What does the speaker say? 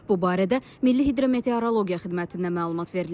Bu barədə Milli Hidrometeorologiya Xidmətindən məlumat verilib.